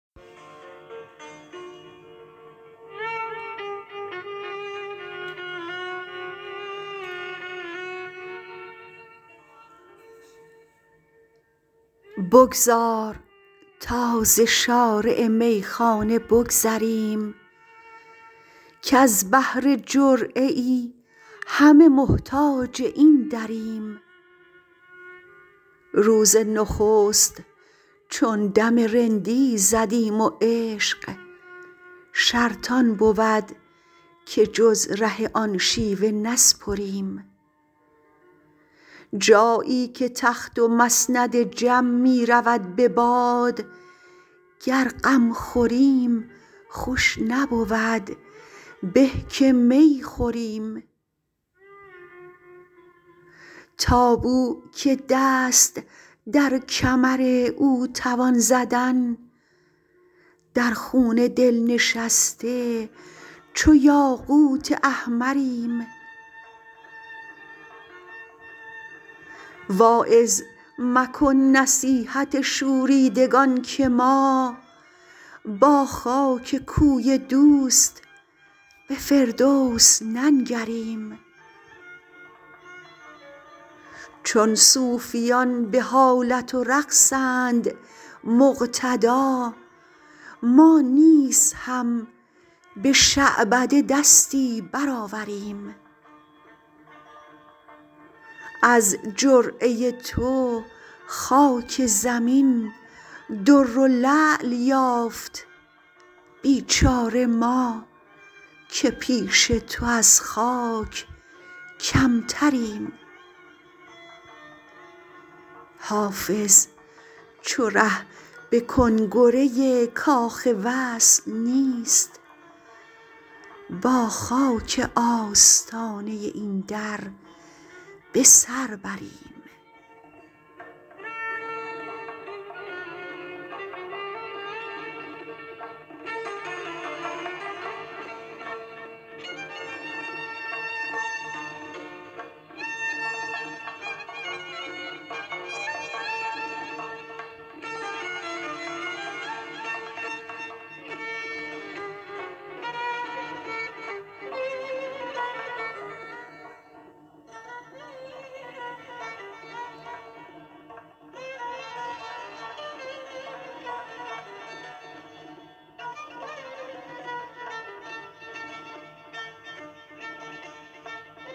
بگذار تا ز شارع میخانه بگذریم کز بهر جرعه ای همه محتاج این دریم روز نخست چون دم رندی زدیم و عشق شرط آن بود که جز ره آن شیوه نسپریم جایی که تخت و مسند جم می رود به باد گر غم خوریم خوش نبود به که می خوریم تا بو که دست در کمر او توان زدن در خون دل نشسته چو یاقوت احمریم واعظ مکن نصیحت شوریدگان که ما با خاک کوی دوست به فردوس ننگریم چون صوفیان به حالت و رقصند مقتدا ما نیز هم به شعبده دستی برآوریم از جرعه تو خاک زمین در و لعل یافت بیچاره ما که پیش تو از خاک کمتریم حافظ چو ره به کنگره کاخ وصل نیست با خاک آستانه این در به سر بریم